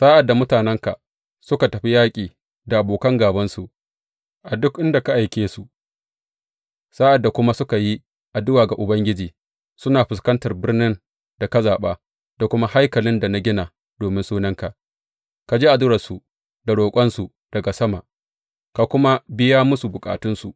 Sa’ad da mutanenka suka tafi yaƙi da abokan gābansu, a duk inda ka aike su, sa’ad da kuma suka yi addu’a ga Ubangiji suna fuskantar birnin da ka zaɓa, da kuma haikalin da na gina domin Sunanka, ka ji addu’arsu da roƙonsu daga sama, ka kuma biya musu bukatansu.